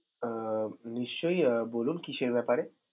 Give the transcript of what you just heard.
আহ নিশ্চয়ই আহ বলুন কিসের ব্যাপারে?